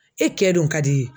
E kɛ don ka d'i ye.